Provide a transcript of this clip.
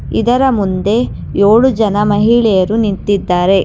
ಇದರ ಮುಂದೆ ಏಳು ಜನ ಮಹಿಳೆಯರು ನಿಂತಿದ್ದಾರೆ.